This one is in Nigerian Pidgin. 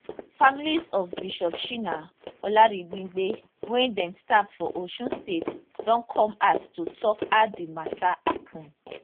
families of bishop shina olaribigbe wey dem stab for osun state don come out to tok how di mata happun